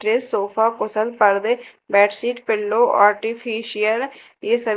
के सोफा कुशल पडदे बेड शीट पीलो आर्टिफीसियल ये--